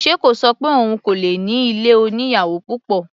Ṣe kò ṣọ pé òun kò lè ní ilé oníyàwò púpọ̀?